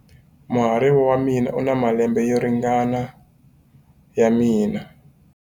Muhariva wa mina u na malembe yo ringana na ya mina.